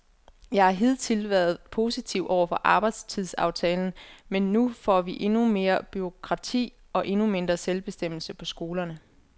Jeg har hidtil været positiv over for arbejdstidsaftalen, men nu får vi endnu mere bureaukrati og endnu mindre selvbestemmelse på skolerne.